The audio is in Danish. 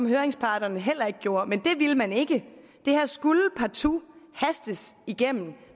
høringsparterne heller ikke gjorde men det ville man ikke det her skulle partout hastes igennem